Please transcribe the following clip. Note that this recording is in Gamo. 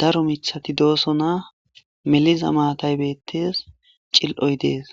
daro michati dooso na meliza maatay bettes cil7oy dees